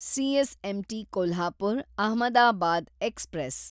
CSMT Kolhapur, Ahmedabad express